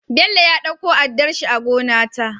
Bello ya ɗauko addarshi a gona ta